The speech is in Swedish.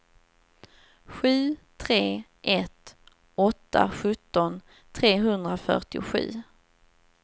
sju tre ett åtta sjutton trehundrafyrtiosju